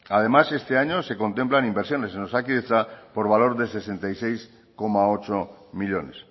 además este año se contemplan inversiones en osakidetza por valor de sesenta y seis coma ocho millónes